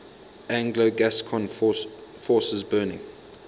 anglo gascon forces burning